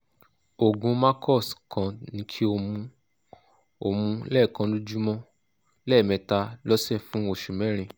oògùn macox kan ni kí o mu o mu lẹ́ẹ̀kan lójúmọ́ lẹ́ẹ̀mẹta lọ́sẹ̀ fún oṣù mẹ́rin